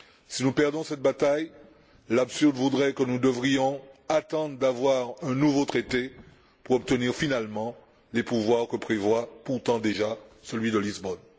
Si nous perdons cette bataille, l'absurde voudrait que nous devrions attendre d'avoir un nouveau traité pour obtenir, finalement, les pouvoirs que prévoit, pourtant déjà, celui de Lisbonne.